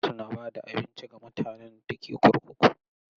Gwamnati na ba da abinci ga mutanen da ke kurkuku.